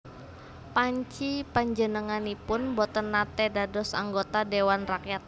Panci panjenenganipun boten naté dados anggota Dhéwan Rakyat